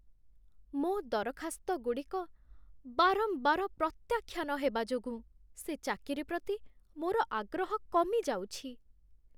ମୋ' ଦରଖାସ୍ତଗୁଡ଼ିକ ବାରମ୍ବାର ପ୍ରତ୍ୟାଖ୍ୟାନ ହେବା ଯୋଗୁଁ ସେ ଚାକିରି ପ୍ରତି ମୋର ଆଗ୍ରହ କମିଯାଉଛି।